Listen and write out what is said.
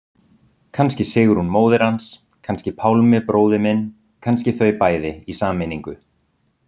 Kannski Sigrún móðir hans, kannski Pálmi bróðir minn, kannski þau bæði, í sameiningu.